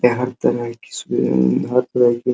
हर तरह की सुविधा हर तरह की --